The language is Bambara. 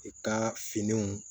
I ka finiw